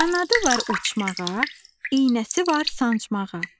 Qanadı var uçmağa, iynəsi var sancmağa.